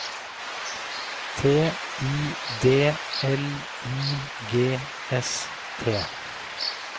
T I D L I G S T